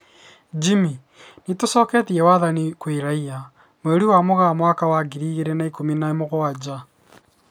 Jimmy: Nitũcoketie wathani kwĩ raia, mweri wa Mũgaa mwaka wa ngiri igĩrĩ na ikũmi na mũgwanja